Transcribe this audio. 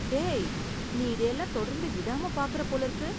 டேய், நீ இதையெல்லாம் தொடர்ந்து விடாம பாக்கற போலிருக்கு.